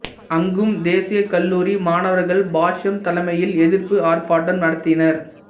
அங்கும் தேசியக் கல்லூரி மாணவர்கள் பாஷ்யம் தலைமையில் எதிர்ப்பு ஆர்ப்பாட்டம் நடத்தினர்